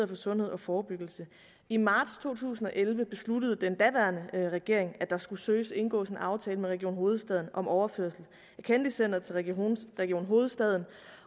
for sundhed og forebyggelse i marts to tusind og elleve besluttede den daværende regering så at der skulle søges indgået en aftale med region hovedstaden om en overførsel af kennedy centret til region region hovedstaden